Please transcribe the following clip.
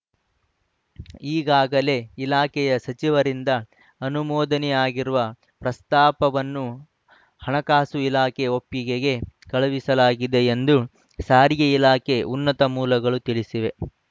ಈಗಾಗಲೇ ಇಲಾಖೆಯ ಸಚಿವರಿಂದ ಅನುಮೋದನೆಯಾಗಿರುವ ಪ್ರಸ್ತಾಪವನ್ನು ಹಣಕಾಸು ಇಲಾಖೆ ಒಪ್ಪಿಗೆಗೆ ಕಳುಹಿಸಲಾಗಿದೆ ಎಂದು ಸಾರಿಗೆ ಇಲಾಖೆ ಉನ್ನತ ಮೂಲಗಳು ತಿಳಿಸಿವೆ